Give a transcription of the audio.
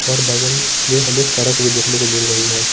और बगलस में उसके सड़क भी देखने को मिल रही है।